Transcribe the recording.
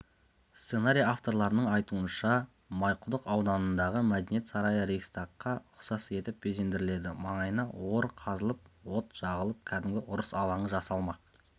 сценарий авторларының айтуынша майқұдық ауданындағы мәдениет сарайы рейхстагқа ұқсас етіп безендіріледі маңайына ор қазылып от жағылып кәдімгі ұрыс алаңы жасалмақ